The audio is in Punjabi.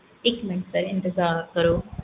ਇੱਕ ਮਿੰਟ sir ਇੰਤਜ਼ਾਰ ਕਰੋ